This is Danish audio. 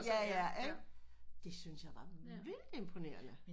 Ja ja ikke det synes jeg var vildt imponerende